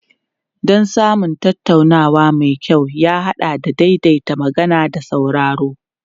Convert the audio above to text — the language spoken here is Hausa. Don samun tattaunawa mai kyau ya haɗa da daidaita magana da sauraro.